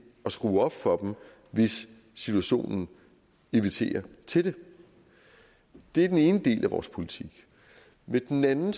at skrue op for dem hvis situationen inviterer til det det er den ene del af vores politik med den anden